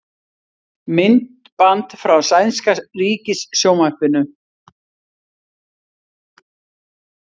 Myndband frá sænska ríkissjónvarpinu